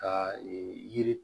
Ka yiri